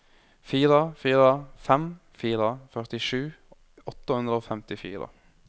fire fire fem fire førtisju åtte hundre og femtifire